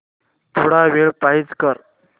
थोडा वेळ पॉझ कर